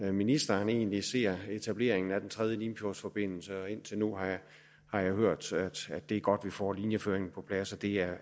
ministeren egentlig ser etableringen af den tredje limfjordsforbindelse indtil nu har jeg hørt at det er godt at vi får linjeføringen på plads det er